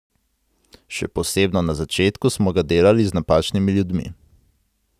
Še posebno na začetku smo ga delali z napačnimi ljudmi.